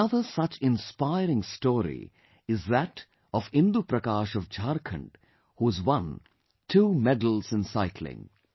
Another such inspiring story is that of Indu Prakash of Jharkhand, who has won 2 medals in cycling